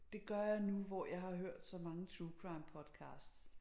Det gør jeg nu hvor jeg har hørt så mange true crime podcasts